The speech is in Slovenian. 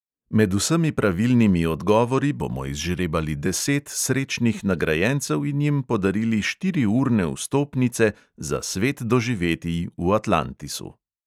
Med vsemi pravilnimi odgovori bomo izžrebali deset srečnih nagrajencev in jim podarili štiriurne vstopnice za svet doživetij v atlantisu.